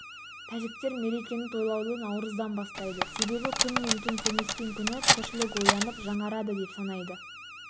тәжіктер мерекені тойлауды наурыздың бастайды себебі күн мен түн теңескен күні тіршілік оянып жаңарады деп санайды